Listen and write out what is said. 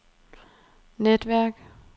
netværk